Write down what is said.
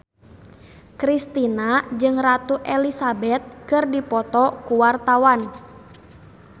Kristina jeung Ratu Elizabeth keur dipoto ku wartawan